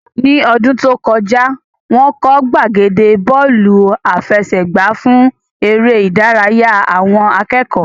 Ní ọdún tó kọjá, wọ́n kọ́ gbàgede Bọ́ọ̀lù àfẹsẹ̀gbá fún eré ìdárayá àwọn akẹ́kọ̀ọ́